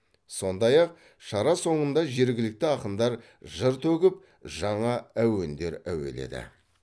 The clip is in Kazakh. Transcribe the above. сондай ақ шара соңында жергілікті ақындар жыр төгіп жаңа әуендер әуеледі